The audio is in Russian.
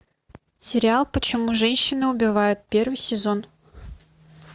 сериал почему женщины убивают первый сезон